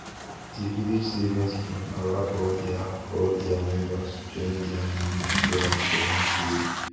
di village savings scheme allow all their all their members join their money together for one safe